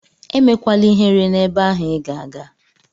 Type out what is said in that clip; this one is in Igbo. Emekwala ihere n'ebe ahụ Ị ga-aga!